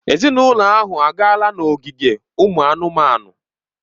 Ezinụlọ ahụ agaala n'ogige ụmụ anụmanụ.